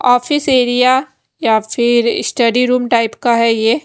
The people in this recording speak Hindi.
ऑफिस एरिया या फिर स्टडी रूम टाइप का हैं ये--